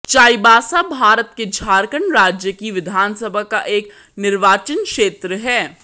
चाईबासा भारत के झारखण्ड राज्य की विधानसभा का एक निर्वाचन क्षेत्र है